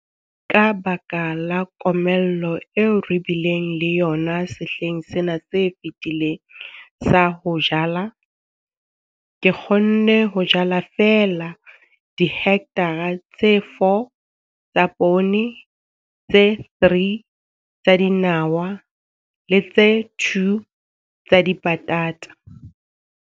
Ka baka la komello eo re bileng le yona sehleng sena se fetileng sa ho jala, ke kgonne ho jala feela dihekthara tse 4 tsa poone, tse 3 tsa dinawa le tse 2 tsa dipatata.